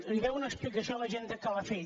li deu una explicació a la gent de calafell